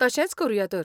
तशेंच करुया तर.